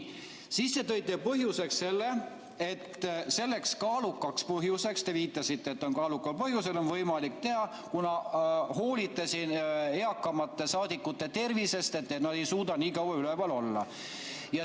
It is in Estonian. Siis te tõite põhjenduseks selle, et selleks kaalukaks põhjuseks on – te viitasite, et kaaluka põhjuse korral on võimalik teha –, et te hoolite eakamate saadikute tervisest, kuna nad ei suuda nii kaua üleval olla.